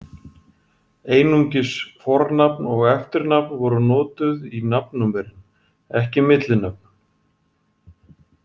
Einungis fornafn og eftirnafn voru notuð í nafnnúmerin, ekki millinöfn.